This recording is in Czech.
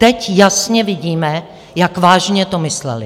Teď jasně vidíme, jak vážně to mysleli.